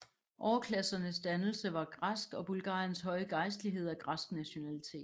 Overklassernes dannelse var græsk og Bulgariens høje gejstlighed af græsk nationalitet